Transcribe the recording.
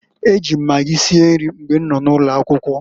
E ji m magi sie nri mgbe nọ n'ụlọ akwụkwọ.